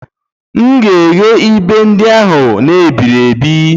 M ga-eghe ibe ndị ahụ n'iberibe